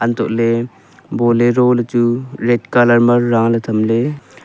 untohley bolero ley chu red colour ma taley thamley.